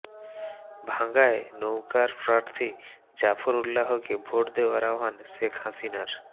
ভাঙ্গায় নৌকার প্রার্থী জাফর উল্লাহকে ভোট দেওয়ার আহ্বান শেখ হাসিনার